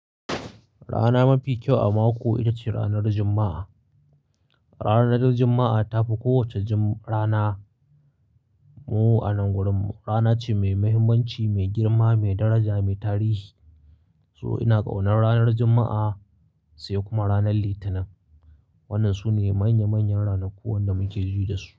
Rana mafi kyau a mako ita ce ranar Juma'a. Ranar Juma'a ta fi kowace rana mu a nan wurin rana ce mai muhimmanci, mai girma, mai daraja, mai tarihi. So ina ƙaunar ranar Juma'a sai kuma ranar Litinin. Waɗannan su ne manya manyan ranaku waɗanda muke ji da su.